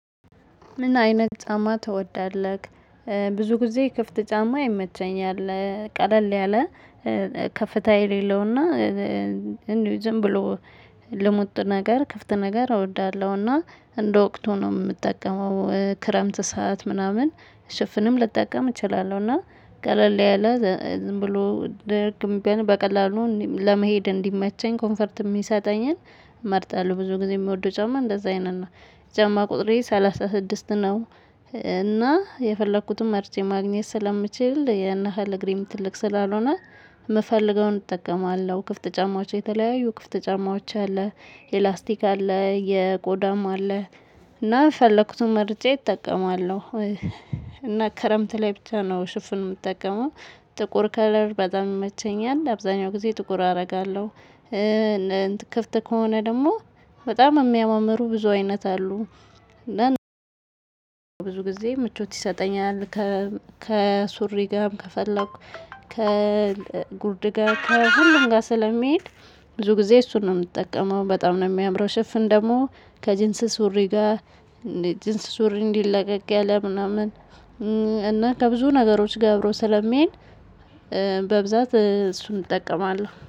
ምን አይነት ጫማ ትወዳለህ? ብዙ ጊዜ ክፍት ጫማ የመቸኝ አለ ቀለል ያለ ከፍታ የሌለውና ዝም ብሎ ልሙጥ ነገር ክፍት ነገር እወዳለሁና። እንደ ወቅት ሆኖ የምጠቀመው ክረምት ሰዓት ምናምን ሽፍንም ልጠቀም እችላለሁ እና ቀለል ያለ ዝም ብሎ ደርግም በቀላሉ ለመሄድ እንዲመቸኝ ኮምፈርት የሚሰጠኝን እመርጣለሁ። ብዙ ጊዜ የሚወደው ጫማ እንደዛ አይነት እና የጫማ ቁጥሬ ሰላሳ ስድስት ነው። እና የፈለኩትን መርቼ ማግኘት ስለምችል የነሃል እግሬም ትልቅ ስላልሆነ የምፈልገውን እጠቀማለሁ። ክፍት ጫማዎች የተለያዩ ክፍት ጫማዎች አለ የላስቲክ አለ የቆዳም አለ እና ፈለኩት ምርጫ እጠቀማለሁ። እና ከረምት ላይ ብቻ ነው ሽፍን የምትጠቀመው? ጥቁር ከለር በጣም ይመቸኛል አብዛኛው ጊዜ ጥቁር አደርጋለሁ። ከፍተህ ከሆነ ደግሞ በጣም የሚያማምሩ ብዙ አይነት አሉ። ብዙ ጊዜ ምቾት ይሰጠኛል። ከሱሪ ጋርም ከፈለኩ ከጉርድ ጋር ከሁሉም ጋር ስለሚሄድ ብዙ ጊዜ እሱን ነው የምጠቀመው። በጣም ነው የሚያምረው። ሽፍን ደግሞ ከጅንስ ሱሪ ጋር ጅንስ ሱሪ እንዲለቀቅ ያለ ምናምን እና ከብዙ ነገሮች ገብሮ ስለሚይን። በብዛት እሱን እጠቀማለሁ